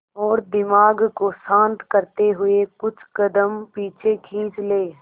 और दिमाग को शांत करते हुए कुछ कदम पीछे खींच लें